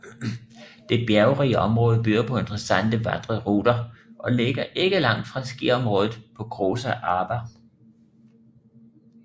Det bjergrige område byder på intereessante vandreruter og ligger ikke langt fra skiområdet på Großer Arber